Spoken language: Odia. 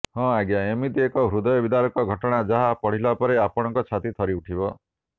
ହଁ ଆଜ୍ଞା ଏମିତି ଏକ ହୃଦୟ ବିଦାରକ ଘଟଣା ଯାହା ପଢିଲା ପରେ ଆପଣଙ୍କ ଛାତି ଥରି ଉଠିବ